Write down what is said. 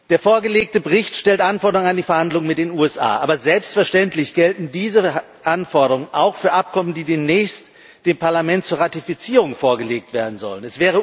Der vorgelegte Bericht stellt Anforderungen an die Verhandlungen mit den USA, aber selbstverständlich gelten diese Anforderungen auch für Abkommen, die demnächst dem Parlament zur Ratifizierung vorgelegt werden sollen.